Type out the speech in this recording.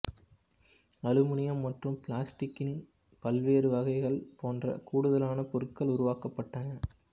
aluminium மற்றும் பிளாஸ்டிக்கின் பல்வேறு வகைகள் போன்ற கூடுதலான பொருட்கள் உருவாக்கப்பட்டன